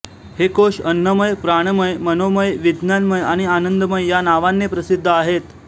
हे कोश अन्नमय प्राणमय मनोमय विज्ञानमय आणि आनंदमय या नांवानें प्रसिद्ध आहेत